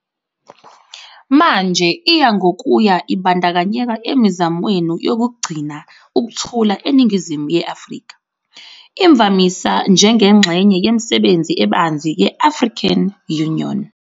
Manje iya ngokuya ibandakanyeka emizamweni yokugcina ukuthula eningizimu ye-Afrika, imvamisa njengengxenye yemisebenzi ebanzi ye-African Union.